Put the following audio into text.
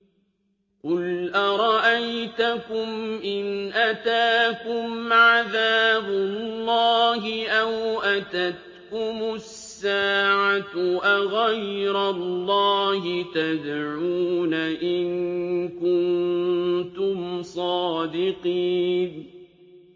قُلْ أَرَأَيْتَكُمْ إِنْ أَتَاكُمْ عَذَابُ اللَّهِ أَوْ أَتَتْكُمُ السَّاعَةُ أَغَيْرَ اللَّهِ تَدْعُونَ إِن كُنتُمْ صَادِقِينَ